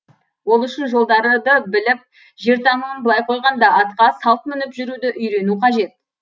ол үшін жолдарды біліп жер тануын былай қойғанда атқа салт мініп жүруді үйренуі қажет